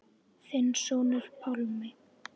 Þinn sonur, Pálmi.